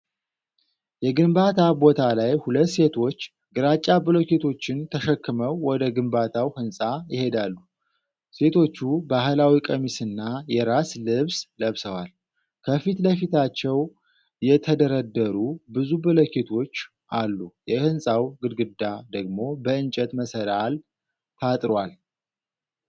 የግንባታ ቦታ ላይ ሁለት ሴቶች ግራጫ ብሎኬቶችን ተሸክመው ወደ ግንባታው ህንፃ ይሄዳሉ። ሴቶቹ ባህላዊ ቀሚስና የራስ ልብስ ለብሰዋል። ከፊት ለፊታቸው የተደረደሩ ብዙ ብሎኬቶች አሉ፤ የህንጻው ግድግዳ ደግሞ በእንጨት መሰላል ታጥሯል።